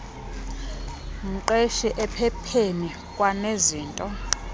mqeshi ephepheni kwanezinto